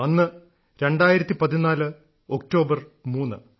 അന്ന് 2014 ഒക്ടോബർ 3